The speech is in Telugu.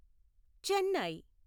చెన్నై